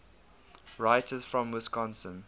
writers from wisconsin